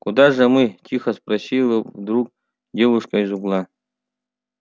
куда же мы тихо спросила вдруг девушка из угла